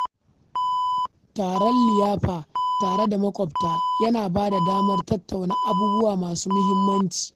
Taron liyafa tare da maƙwabta yana bada damar tattauna abubuwa masu muhimmanci.